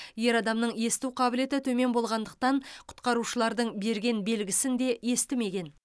ер адамның есту қабілеті төмен болғандықтан құтқарушылардың берген белгісін де естімеген